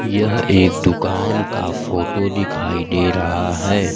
यह एक दुकान का फोटो दिखाई दे रहा है।